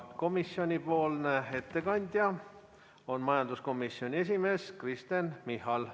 Komisjonipoolne ettekandja on majanduskomisjoni esimees Kristen Michal.